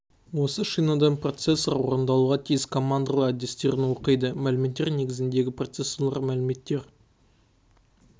осы шинадан процессор орындалуға тиіс командалар адрестерін оқиды мәліметтер негізіндегі процессорларда мәліметтер